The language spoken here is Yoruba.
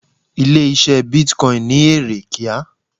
Ilé ise Bitcoin ni ere kíá.